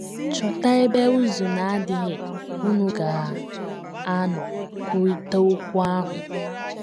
Chọta ebe ụ̀zụ̀ na - adịghị unu ga - anọ kwurịta okwu ahụ.